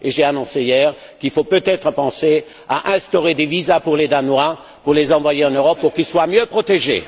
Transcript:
J'ai annoncé hier qu'il fallait peut être penser à instaurer des visas pour les Danois pour les envoyer en Europe afin qu'ils soient mieux protégés!